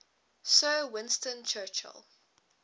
sir winston churchill